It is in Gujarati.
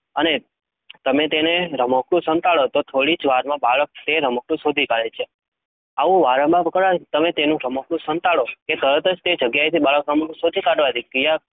અને તમે તેનું રમકડું સંતાડો તો, થોડી જ વારમાં બાળક તે રમકડું શોધી કાઢે છે. આવું વારંવાર કરવાથી તમે તેનું રમકડું સંતાડો કે તરત જ તે જગ્યાએથી બાળક રમકડું શોધી કાઢવાની ક્રિયા